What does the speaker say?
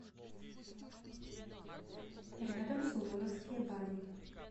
рядом суворовские бани